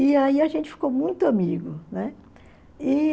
E aí a gente ficou muito amigo, né?